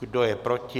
Kdo je proti?